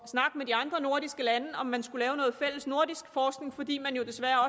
snakke med de andre nordiske lande om man skulle lave noget fælles nordisk forskning fordi man jo desværre